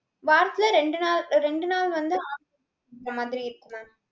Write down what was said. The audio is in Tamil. வாரத்துல ரெண்டு நாள் ரெண்டு நாள் வந்து amla juice குடிக்கிற மாதிரி இருக்கும் mam.